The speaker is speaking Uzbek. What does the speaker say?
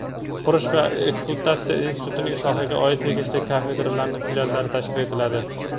qurish va ekspluatatsiyasi institutining sohaga oid tegishli kafedralari filiallari tashkil etiladi.